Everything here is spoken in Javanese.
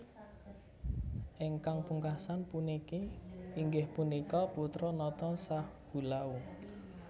Ingkang pungkasan puniki inggih punika putra nata Sahulau